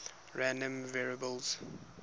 random variables